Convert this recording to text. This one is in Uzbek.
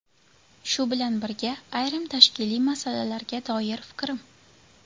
Shu bilan birga, ayrim tashkiliy masalalarga doir fikrim.